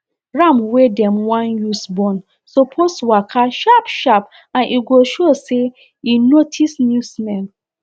ram wey dem wan use born suppose waka sharp sharp and e go show say e notice new smell